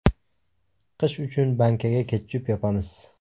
Qish uchun bankaga ketchup yopamiz.